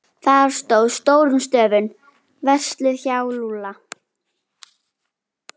Þar stóð stórum stöfum: Verslið hjá Lúlla.